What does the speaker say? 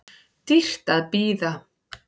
Dýrt að bíða